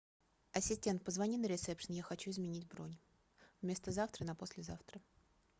ассистент позвони на ресепшн я хочу изменить бронь вместо завтра на послезавтра